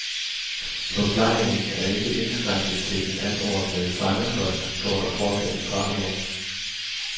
Forplejningen er ikke indskrænket til den anordnede fangekost, står der fortsat i straffeloven.